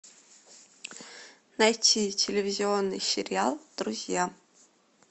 найти телевизионный сериал друзья